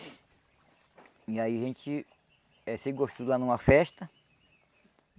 E aí a gente eh se gostou lá numa festa.